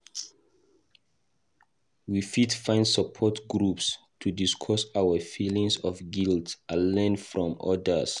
We fit find support groups to discuss our feelings of guilt and learn from others.